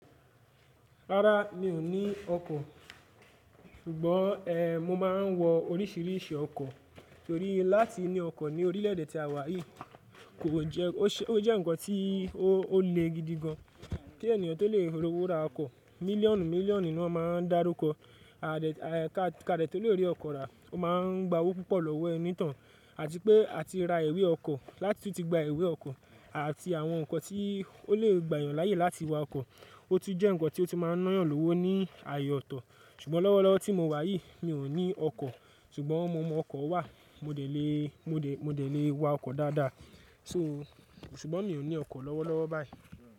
Rárá mi ò ní ọkọ̀, ṣùgbọ́n e mo máa n wo oríṣìíríṣìí ọkọ̀ torí láti ní ọkọ̀ ní orílè èdè tí a wà yìí kò jẹ́ ó jẹ́ nǹkan tí ó le gidi gan. Kí ènìyàn tó lè ro owo ra ọkọ̀ mílíọ̀nù mílíọ̀nù ni wọ́n máa ń dárúkọ. Ka dẹ to lè rí ọkọ̀ rà, o máa ń gba owó púpọ̀ lọ́wọ́ ẹniìtàn, àti pé a ti ra ìwé ọkọ̀ láti tí ó ti gba ìwé ọkọ̀ àti àwọn nǹkan tí ó lè gbàyàn láyé láti wa ọkọ̀. O tú jẹ́ nǹkan tí ó ti máa n nán yàn lówó ní ààyè ọ̀tọ̀. Ṣùgbọ́n lọ́wọ́lọ́wọ́ tí mo wà yìí mi ò ní ọkọ̀, ṣùgbọ́n mo mọ ọkọ̀ wà, mo dẹ̀ le, mo dẹ̀ lé wa ọkọ̀ dáadáa. So, ṣùgbọ́n mi ò ní ọkọ̀ lọ́wọ́lọ́wọ́ báyìí.